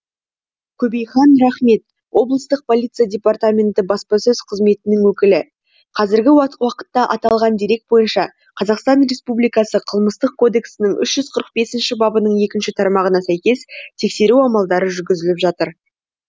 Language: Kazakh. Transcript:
көбейхан нұрахмет облыстық полиция департаменті баспасөз қызметінің өкілі қазіргі уақытта аталған дерек бойынша қр қылмыстық кодексінің үш жүз қырық бемінші бабының екінші тармағына сәйкес тексеру амалдары жүргізіліп жатыр